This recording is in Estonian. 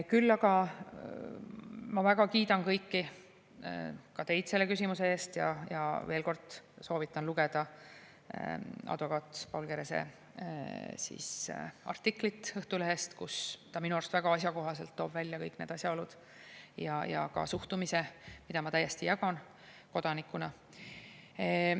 Küll aga ma väga kiidan kõiki, ka teid selle küsimuse eest ja veel kord soovitan lugeda advokaat Paul Kerese artiklit Õhtulehest, kus ta minu arust väga asjakohaselt toob välja kõik need asjaolud ja ka suhtumise, mida ma täiesti jagan kodanikuna.